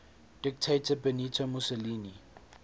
dictator benito mussolini